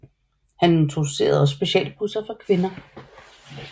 Han introducerede også specialbusser for kvinder